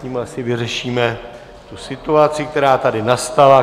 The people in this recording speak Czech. Tím asi vyřešíme tu situaci, která tady nastala.